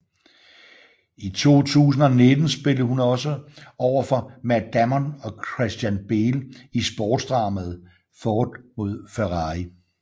I 2019 spillede hun også overfor Matt Damon og Christian Bale i sportsdramaet Ford v Ferrari